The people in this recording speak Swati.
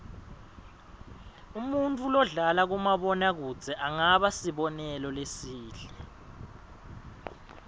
umuntfu lodlala kumabona kudze angaba sibonelo lesihle